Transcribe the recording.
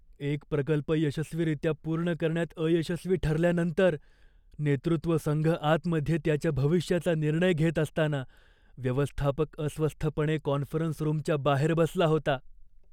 एक प्रकल्प यशस्वीरित्या पूर्ण करण्यात अयशस्वी ठरल्यानंतर, नेतृत्व संघ आतमध्ये त्याच्या भविष्याचा निर्णय घेत असताना व्यवस्थापक अस्वस्थपणे कॉन्फरन्स रूमच्या बाहेर बसला होता.